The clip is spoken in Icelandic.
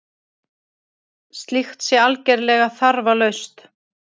Slíkt sé algerlega þarflaust